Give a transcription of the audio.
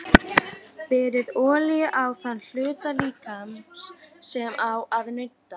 Berið olíu á þann hluta líkamans sem á að nudda.